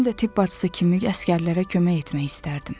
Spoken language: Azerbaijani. Özüm də tibb bacısı kimi əsgərlərə kömək etmək istərdim.